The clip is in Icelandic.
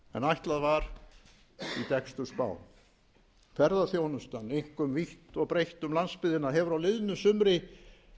ætlað var í dekkstu spám ferðaþjónustan einkum vítt og breitt um landsbyggðina hefur á liðnu sumri